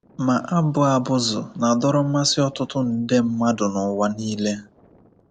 Ma, abụ abụzụ na-adọrọ mmasị ọtụtụ nde mmadụ n’ụwa nile.